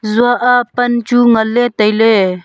tsua a pan chu ngan ley tai ley.